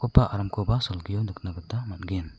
ba aramkoba salgio nikatna gita man·gen.